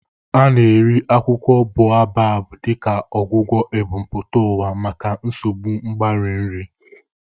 A na-eri akwụkwọ Baobab dịka ọgwụgwọ ebumpụta ụwa maka nsogbu mgbari nri.